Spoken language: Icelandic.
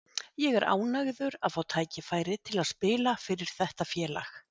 Ég er ánægður að fá tækifæri til að spila fyrir þetta félag.